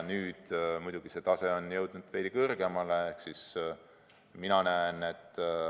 Nüüd on muidugi see tase jõudnud veidi kõrgemale.